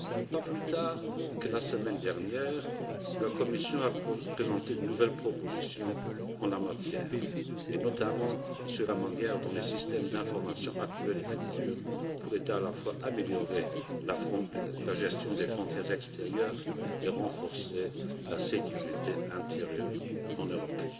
Pas plus tard que la semaine dernière, la Commission a présenté de nouvelles propositions en la matière, notamment sur la manière dont les systèmes d'information, actuels et futurs, pourraient à la fois améliorer la gestion des frontières extérieures et renforcer la sécurité intérieure en Europe.